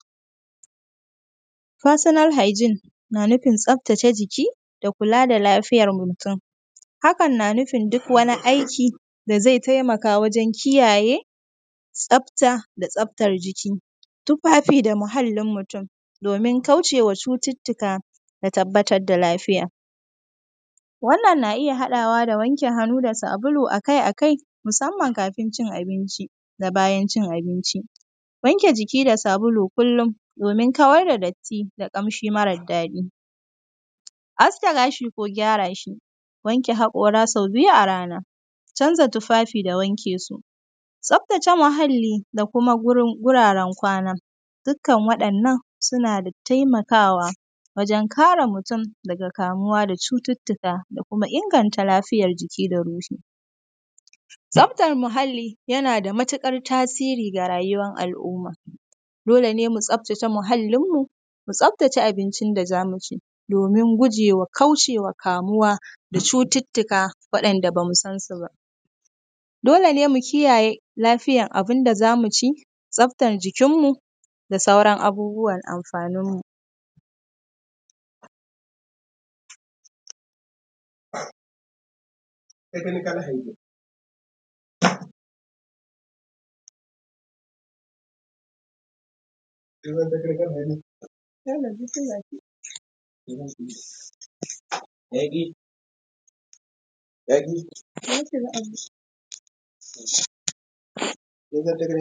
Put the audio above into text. ‘Personal hygiene’ na nufin tsaftace jiki da kula da lafiyar mutun, hakan na nufin duk wani aiki da ze temaka wajen kiyaye tsafta da tsaftar jiki, tufafi da muhallin mutun, domin kauce wa cututtuka da tabbatad da lafiya. Wannan, na iya haɗawa da wanke hannu da sabulu a kai a kai, musamman kafin cin abinci da bayan cin abinci. Wanke jiki da sabulu kullin domin kawar da datti da ƙamshi marad daɗi, aske gashi ko gyara shi, wanke haƙora sau biyu a rana, canza tufafi da wanke su. Tsaftace muhalli da kuma gurin; guraren kwana, dikkan waɗannan suna da temakawa wajen kare mutun daga kamuwa da cututtuka da kuma inganta lafiyar jiki da ruhi. Tsaftar muhalli, yana da mutuƙar tasiri ga ruyawan al’umma, dole ne mu tsaftace muhallinmu, mu tsaftace abincin da za mu ci domin guje wa kauce wa kamuwa da cututtuka waɗanda ba mu san su ba. Dole ne mu kiayaye lafiyan abin da za mu ci, tsaftan jikinmu da sauran abubuwar amfanin mu. ‘Technical hyegen’